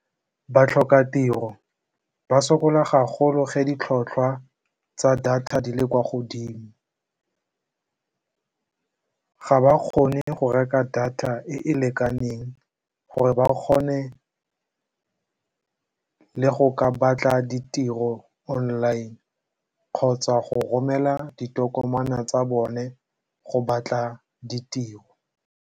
Batlhokatiro ba sokola ga golo ge ditlhotlhwa tsa data di le kwa godimo. Ga ba kgone go reka data e e lekaneng gore ba kgone le go ka batla ditiro online kgotsa go romela ditokomane tsa bone go batla ditiro.